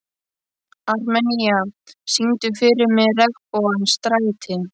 Armenía, syngdu fyrir mig „Regnbogans stræti“.